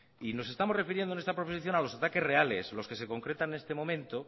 y nos estamos refiriendo en esta proposición a los ataques reales los que se concretan en este momento